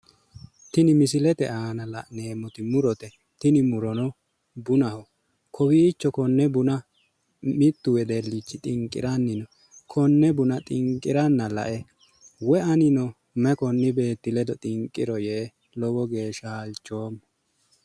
Tini misilete aana la'neemmoti murote. Tini murono bunaho. Kowiicho konne buna mittu wedellichi xinqiranni no. Konne buna xinqiranna lae woyi anino konni beetti ledo xinqiro yee lowo geeshsha halchoommo.